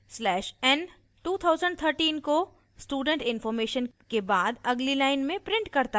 slash n 2013 को student information के बाद अगली line में prints करता है